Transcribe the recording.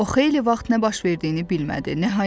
O xeyli vaxt nə baş verdiyini bilmədi.